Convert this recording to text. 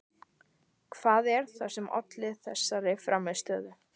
Hvað er það sem olli þessari frammistöðu?